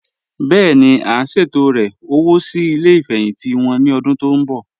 Bẹ́ẹ̀ni, à n ṣẹtọ̀rẹ́ owo sí ilẹ̀ ifẹ́hìntì wọn ni ọ̀dún tó nbọ̀.